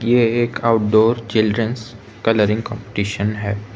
ये एक outdoor children's colouring competition है।